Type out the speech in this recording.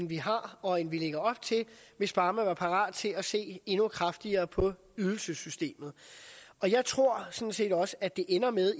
vi har og end vi lægger op til hvis bare man var parat til at se endnu kraftigere på ydelsessystemet og jeg tror sådan set også at det ender med